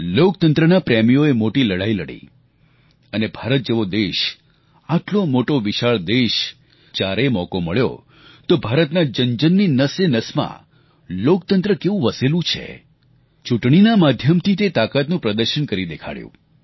લોકતંત્રના પ્રેમીઓએ મોટી લડાઈ લડી અને ભારત જેવો દેશ આટલો મોટો વિશાળ દેશ જ્યારે મોકો મળ્યો તો ભારતના જનજનની નસેનસમાં લોકતંત્ર કેવું વસેલું છે ચૂંટણીના માધ્યમથી તે તાકાતનું પ્રદર્શન કરી દેખાડ્યું